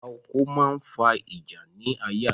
Ààlà oko máa ń fa ìjà ni ayé àtijọ́